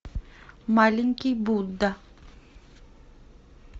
маленький будда